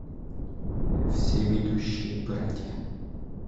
всеведущие братья